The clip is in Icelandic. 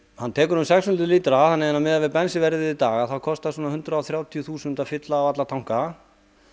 hann tekur um sex hundruð lítra þannig að miðað við bensínverð í dag þá kostar um hundrað og þrjátíu þúsund að fylla á alla tanka